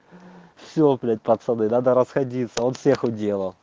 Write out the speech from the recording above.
все блять пацаны надо расходиться он всех уделал